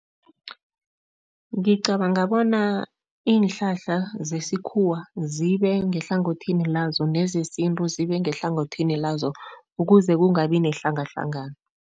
Ngicabanga bona iinhlahla zesikhuwa zibe ngehlangothini lazo nezesintu zibe ngehlangothini lazo, ukuze kungabi nehlangahlangano.